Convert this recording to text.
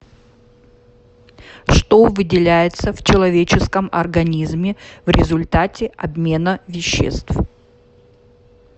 что выделяется в человеческом организме в результате обмена веществ